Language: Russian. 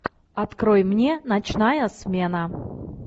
открой мне ночная смена